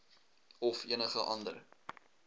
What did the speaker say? of enige ander